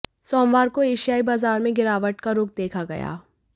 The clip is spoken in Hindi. सोमवार को एशियाई बाजार में गिरावट का रुख देखा गया